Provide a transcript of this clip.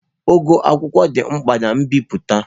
Ogo akwụkwọ dị mkpa na mbipụta.